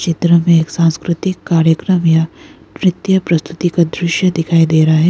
इधर हमे एक सांस्कृतिक कार्यक्रम या नृत्य प्रस्तुति का दृश्य दिखाई दे रहा है।